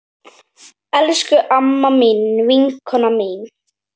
Elsku amma mín, vinkona mín.